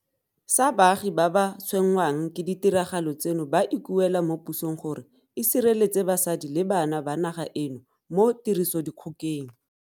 Sa baagi ba ba tshwenngwang ke ditiragalo tseno ba ikuela mo pusong gore e sireletse basadi le bana ba naga eno mo tirisodikgokeng.